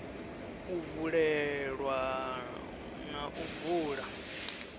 u vulelwa na u bula